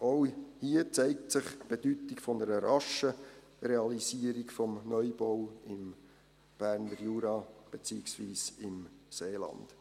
Auch hier zeigt sich die Bedeutung einer raschen Realisierung des Neubaus im Berner Jura beziehungsweise im Seeland.